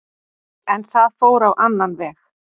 En það fór á annan veg.